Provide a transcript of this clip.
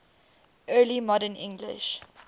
early modern english